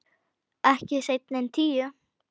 Ekki seinna en tíu.